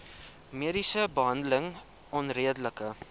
mediese behandeling onredelik